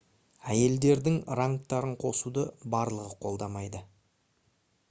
әйелдердің рангтарын қосуды барлығы қолдамады